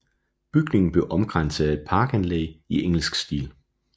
Bygningen blev omkranset af et parkanlæg i engelsk stil